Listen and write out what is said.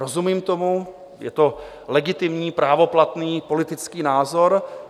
Rozumím tomu, je to legitimní právoplatný politický názor.